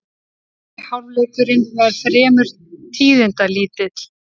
Fyrri hálfleikurinn var fremur tíðindalítill